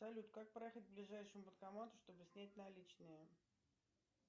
салют как проехать к ближайшему банкомату чтобы снять наличные